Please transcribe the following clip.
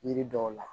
Yiri dɔw la